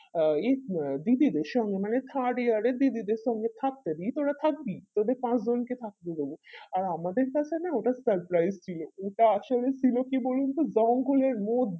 আ ই আহ দিদিদের সঙ্গে মানে third year এর দিদিদের সঙ্গে থাকতে দিই তোরা থাকবি তোদের পাঁচ জনকে থাকতে দেব আর আমাদের কাছে না ওটা surprise ছিল ওটা আসলে ছিল কি বলুনতো জঙ্গলের মো